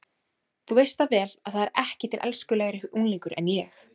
Þú veist það vel að það er ekki til elskulegri unglingur en ég.